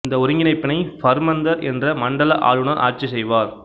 இந்த ஒருங்கிணைப்பினை பஃர்மந்தர் என்ற மண்டல ஆளுநர் ஆட்சி செய்வார்